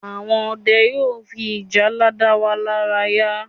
Àwọn Ọdẹ yóò fi ìjálá da wa lára ya